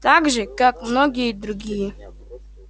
так же как и многие другие